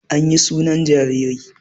Anyi sunan jaririn